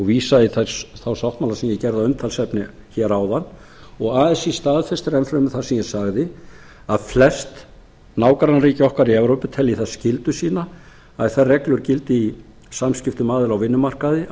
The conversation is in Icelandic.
vísa ég í þá sáttmála sem ég gerði að umtalsefni hér áðan og así staðfestir enn fremur það sem ég sagði að flest nágrannaríki okkar í evrópu telji það skyldu sína að þær reglur gildi í samskiptum aðila á vinnumarkaði að